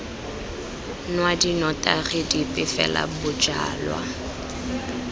nwa dinotagi dipe fela bojalwa